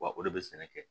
Wa o de bɛ sɛnɛ kɛ